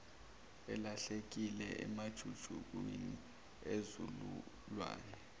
elahlekile emajukujukwini enzululwane